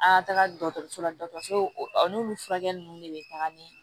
An ka taga dɔgɔtɔrɔso la dɔgɔtɔrɔso n'olu furakɛli ninnu de bɛ taga ni